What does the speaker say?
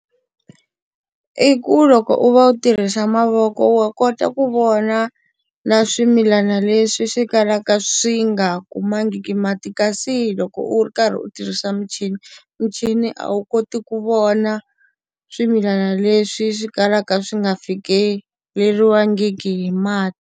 I ku loko u va u tirhisa mavoko wa kota ku vona na swimilana leswi swi kalaka swi nga kumangiki mati kasi hi loko u ri karhi u tirhisa michini, michini a wu koti ku vona swimilana leswi swi kalaka swi nga fikeleriwangiki hi mati.